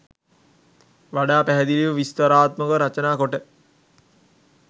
වඩා පැහැදිලිව විස්තරාත්මකව රචනා කොට